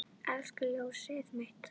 Elsku ljósið mitt.